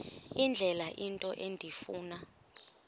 indlela into endifuna